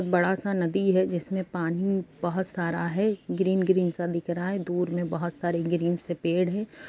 बड़ा सा नदी है जिसमें पानी बहोत सारा है। ग्रीन ग्रीन सा दिख रहा है। दूर में बहोत सारे ग्रीन से पेड़ हैं।